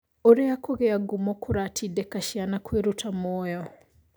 Ũrĩa kũgĩa ngumo kũratindĩka ciana kwĩruta muoyo